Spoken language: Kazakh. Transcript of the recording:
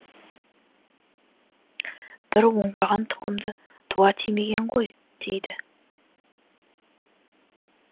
бір оңбаған тұқымды дуа тимеген ғой дейді